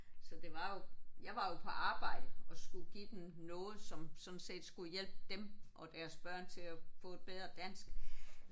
Så det var jo jeg var jo på arbejde og skulle give dem noget som sådan set skulle hjælpe dem og deres børn til at få et bedre dansk